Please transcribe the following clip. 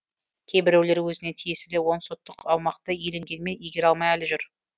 кейбіреулер өзіне тиесілі он сотық аумақты иеленгенмен игере алмай әлі жүр